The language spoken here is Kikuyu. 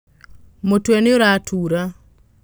Mũtwe nĩũratura.